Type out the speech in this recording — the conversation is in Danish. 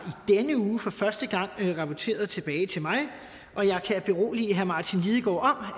denne uge for første gang rapporteret tilbage til mig og jeg kan berolige herre martin lidegaard